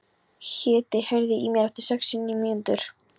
Hedí, heyrðu í mér eftir sextíu og níu mínútur.